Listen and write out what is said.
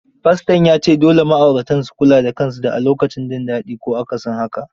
Faston ya ce dole ma'auratan su kula da kansu da a lokacin jin dadi ko akasin haka.